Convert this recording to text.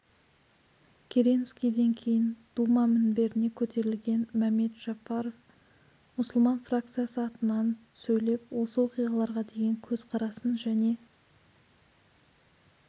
керенскийден кейін дума мінберіне көтерілген мәмед жафаров мұсылман фракциясы атынан сөйлеп осы оқиғаларға деген көзқарасын және